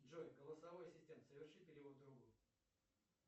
джой голосовой ассистент соверши перевод другу